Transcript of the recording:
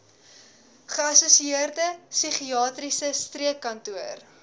geassosieerde psigiatriese streekkantoor